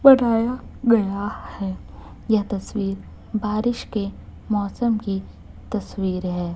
गया है यह तस्वीर बारिश के मौसम की तस्वीर है।